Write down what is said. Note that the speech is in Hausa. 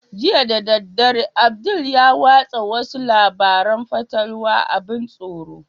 Jiya da daddare abdul ya watsa wasu labaran fatalwa abin tsoro